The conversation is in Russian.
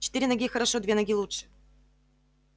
четыре ноги хорошо две ноги лучше